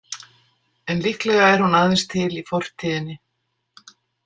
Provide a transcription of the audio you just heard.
En líklega er hún aðeins til í fortíðinni.